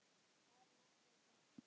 Bærinn átti það.